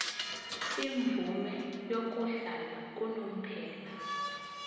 imvume yokuhlala unomphela